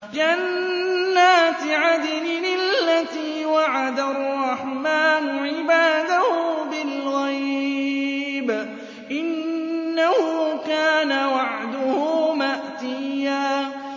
جَنَّاتِ عَدْنٍ الَّتِي وَعَدَ الرَّحْمَٰنُ عِبَادَهُ بِالْغَيْبِ ۚ إِنَّهُ كَانَ وَعْدُهُ مَأْتِيًّا